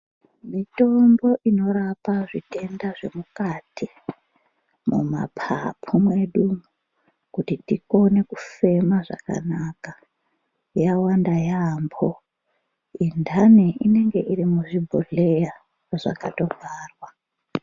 Mitombo inorapa zvitenda zvemukati mumapapu mwedu umu kuti tikone kufema zvakanaka yawanda yaamho. Inthani inenge iri muzvibhodhleya zvakatovharwa.